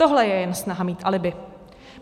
Tohle je jen snaha mít alibi.